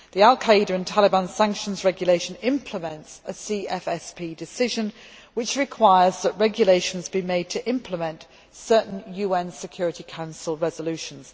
The al Qaeda and Taliban Sanctions Regulation implements a CFSP decision which requires that regulations be made to implement certain UN Security Council resolutions.